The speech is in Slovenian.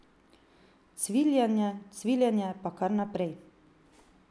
Cviljenje, cviljenje pa kar naprej.